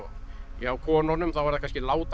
hjá konunum þá er það kannski